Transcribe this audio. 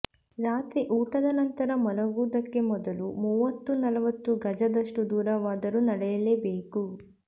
ರಾತ್ರಿ ಊಟದ ನಂತರ ಮಲಗುವುದಕ್ಕೆ ಮೊದಲು ಮೂವತ್ತು ನಲವತ್ತು ಗಜದಷ್ಟು ದೂರವಾದರೂ ನಡೆಯಲೇಬೇಕು